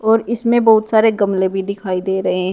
और इसमें बहुत सारे गमले भी दिखाई दे रहे --